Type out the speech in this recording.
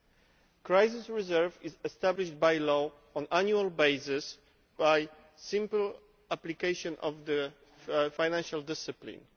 The crisis reserve is established by law on an annual basis by simple application of financial discipline.